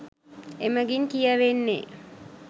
එමගින් කියවෙන්නේ